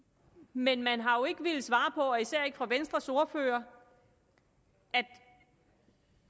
men man har jo ikke villet svare og især ikke venstres ordfører at